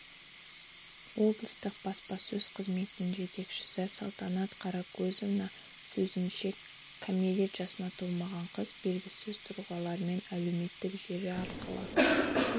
облыстық баспасөз қызметінің жетекшісі салтанат қаракөзованың сөзінше кәмелет жасына толмаған қыз белгісіз тұлғалармен әлеуметтік желі арқылы